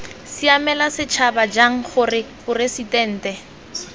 siamela setšhaba jang gore poresitente